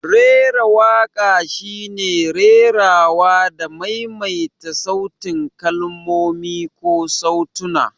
Rera waƙa shine rerawa da maimaita sautin kalmomi ko sautuna.